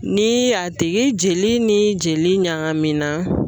Ni y'a tigi jeli ni jeli ɲagami na